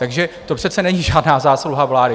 Takže to přece není žádná zásluha vlády.